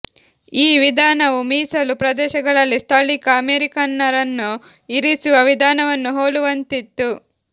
ಈ ವಿಧಾನವು ಮೀಸಲು ಪ್ರದೇಶಗಳಲ್ಲಿ ಸ್ಥಳೀಕ ಅಮೆರಿಕನ್ನರನ್ನು ಇರಿಸುವ ವಿಧಾನವನ್ನು ಹೋಲುವಂತಿತ್ತು